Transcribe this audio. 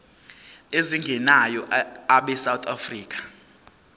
ezingenayo abesouth african